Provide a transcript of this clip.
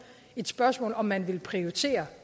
et spørgsmål om man vil prioritere